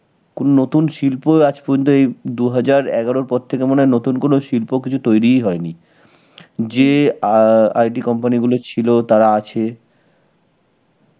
কোনো নতুন শিল্প আজ পর্যন্ত এই দু হাজার এগারোর পর থেকে মনে হয় নতুন কোনো শিল্প কিছু তৈরিই হয়নি. যে অ্যাঁ IT company গুলো ছিল, তারা আছে.